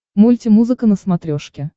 мульти музыка на смотрешке